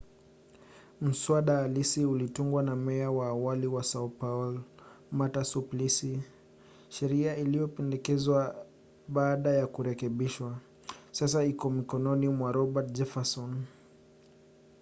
mswada halisi ulitungwa na meya wa awali wa sao paulo marta suplicy. sheria iliyopendekezwa baada ya kurekebishwa sasa iko mikononi mwa roberto jefferson